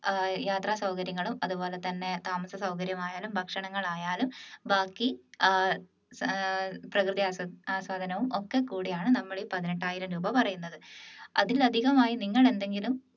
ഏർ യാത്ര സൗകര്യങ്ങളും അതുപോലെതന്നെ താമസസൗകര്യമായാലും ഭക്ഷണങ്ങൾ ആയാലും ബാക്കി ആഹ് ഏർ പ്രകൃതി ആസ്വാദനവും ഒക്കെ കൂടിയാണ് നമ്മൾ ഈ പതിനെട്ടായിരം രൂപ പറയുന്നത് അതിൽ അധികമായി നിങ്ങൾ എന്തെങ്കിലും